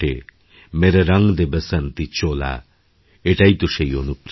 মেরে রঙ দে বাসন্তীচোলা এটাই তো সেই অনুপ্রেরণা